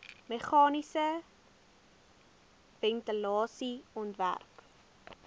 meganiese ventilasie ontwerp